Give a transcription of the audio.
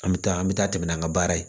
An bɛ taa an bɛ taa tɛmɛ n'an ka baara ye